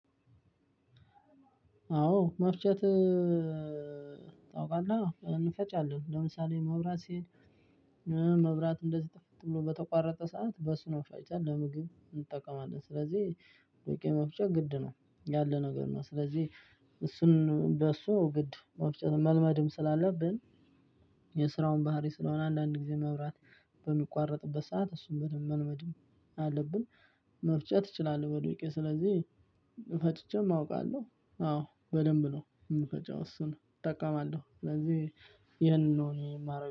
አዎ መፍጨት ታውቃለህ እንፈጫለን ለምሳሌ መብራት ሲሄድ መብራት እንደዚህ ጥፍት ብሎ በተቋረጠ ሰዓት በሱ ነው ፈጭተን ለምግብ እንጠቀማለን ስለዚህ። ዱቄት መፍጨት ግድ ነው ያለ ነገር ነው። ስለዚህ እሱን በሱ ግድ መፍጨት መልመድም ስላለብን። የስራውን ባህሪ ስለሆነ አንዳንድ ጊዜ መብራት በሚቋረጥበት ሰዓት እሱን በደንብ መልመድም አለብን። መፍጨት እቺላለሁ በዱቀት ስለዚህ። ፈጭቸም አውቃለሁ አዎ በደንብ ነው የምፈጨው እሱን እጠቀማለሁ ስለዚህ ይሄንን ነው እኔ የማረገው